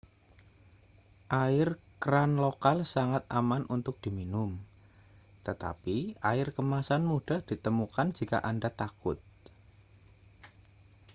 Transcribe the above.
air keran lokal sangat aman untuk diminum tetapi air kemasan mudah ditemukan jika anda takut